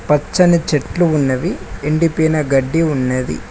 పచ్చని చెట్లు ఉన్నవి ఎండిపోయిన గడ్డి ఉన్నది.